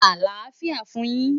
Alafia fun yin